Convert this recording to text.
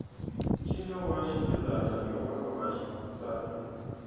ncino wa xibelani i wa vavasati